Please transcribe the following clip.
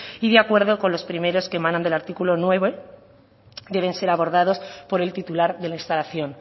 y de acuerdo con los primeros que emanan del artículo nueve deben ser abordados por el titular de la instalación